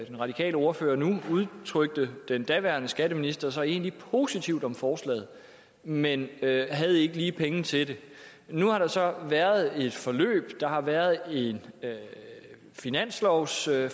den radikale ordfører nu udtrykte den daværende skatteminister sig egentlig positivt om forslaget men havde ikke lige penge til det nu har der så været et forløb der har været en finanslovsforhandling